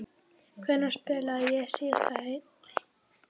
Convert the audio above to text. Hvenær spilaði ég síðast heill?